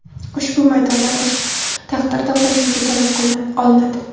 Ushbu maydondan oshgan taqdirda qo‘shimcha to‘lov olinadi.